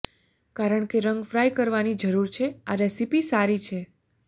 કારણ કે રંગ ફ્રાય કરવાની જરૂર છે આ રેસીપી સારી છે